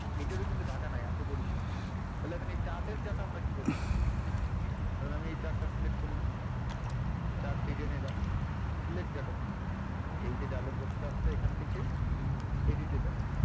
এটারও কিন্তু data নাই আছে বড়িসাল তাহলে এখানে chart এর data আমরা কীভাবে নেবো? তাহলে আমি এই chart টা select করলাম chart design এ যান select data তে যান এই যে box টা আছে এখান থেকে edit এ যাবেন।